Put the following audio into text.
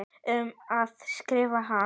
Um það skrifar hann